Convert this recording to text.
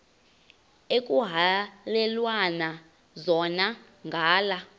ekuhhalelwana zona ngala